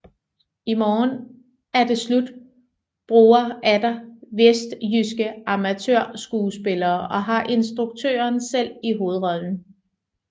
I morgen er det slut bruger atter vestjyske amatørskuespillere og har instruktøren selv i hovedrollen